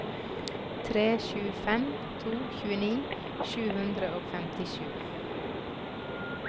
tre sju fem to tjueni sju hundre og femtisju